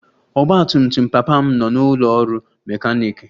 Ọgba tum tum papa m nọ n'ụlọ ọrụ mekaniiki